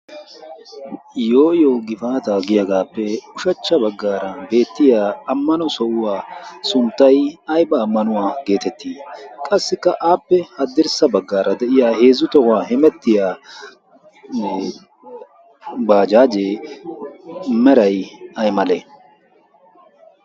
Yooyo gifaata giyaagaappe ushachcha baggaara beettiya ammano sohuwaa sunttay ayba ammanuwaa geetettii? qassikka aappe addirssa baggaara de'iya heezzu tohuwaa himettiyane baajaajee merai ay male?